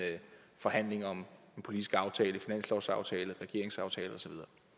forhandling om en politisk aftale en finanslovsaftale regeringsaftale osv